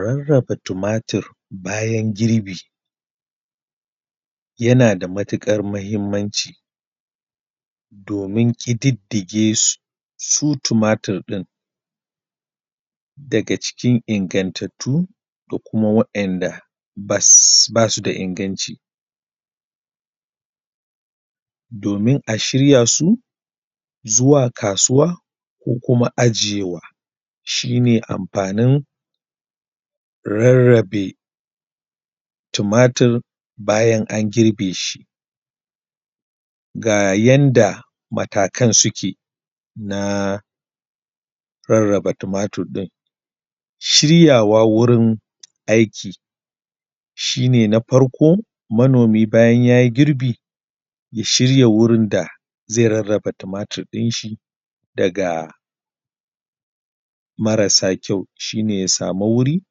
Raraba tumatir bayan girbi yana da matukar mahinmanci domin ƙididige su, su tumatir ɗin daga cikin ingantatu da kuma wa'inda ba su da inganci, domin a shirya su zuwa kasuwa, ko kuma ajiyewa. Shi ne amfanin rarabe tumatir bayan an girbe shi. Ga yanda matakan suke na raraba tumatir ɗin. Shiryawa wurin aiki shi ne na farko. Manomi bayan ya yi girbi ya shirya wurin da zai raraba tumatir ɗin shi daga marasa kyau shi ne ya samu wuri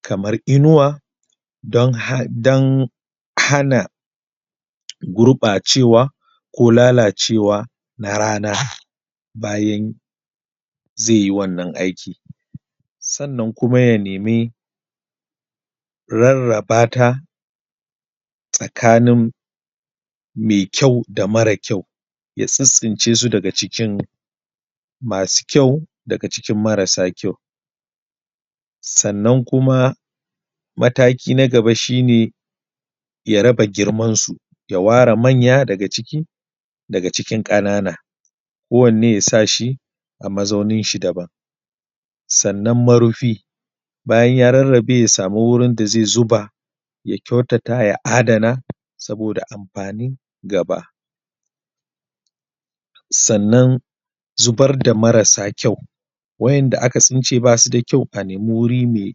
kamar inuwa don hana gurɓacewa ko lalacewa na rana bayan zai yi wanan aiki. Sannan kuma ya nemi rarraba ta tsakanin mai kyau, da mara kyau, ya tsintsince su daga cikin masu kyau daga cikin marasa kyau. Sannan Kuma mataki na gaba shi ne ya raba girman su, ya ware manya daga cikin ƙanana. Kowanne ya sa shi a mazaunin shi daban. Sannan marufi bayan ya rarabe ya samu wurin da zai zuba, ya kyautata, ya adana saboda amfanin gaba. Sannan zubar da marasa kyau wa’inda aka tsince ba su da kyau a nemu wuri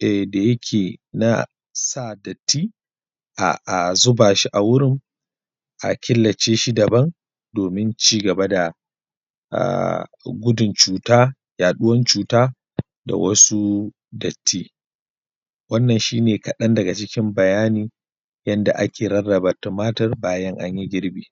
da yake na sa datti a zuba. shi a wurin a killace shi daban domin cigaba da gudun cuta, yaɗuwan da wasu datti. Wannan shi ne kaɗan daga cikin bayani yanda ake rarraba tumatur bayan anyi girbi.